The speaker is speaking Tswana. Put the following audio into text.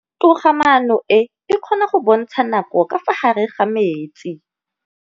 Toga-maanô e, e kgona go bontsha nakô ka fa gare ga metsi.